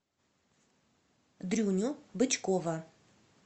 дрюню бычкова